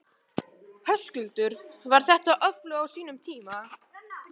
Höskuldur: Var þetta öflug á sínum tíma?